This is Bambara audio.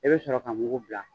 I bɛ sɔrɔ ka mugu bila.